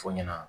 Fɔ ɲɛna